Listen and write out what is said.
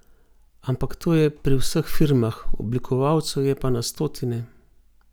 Ampak to je pri vseh firmah, oblikovalcev je pa na stotine.